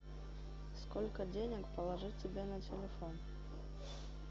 сколько денег положить тебе на телефон